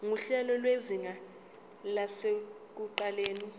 nguhlelo lwezinga lasekuqaleni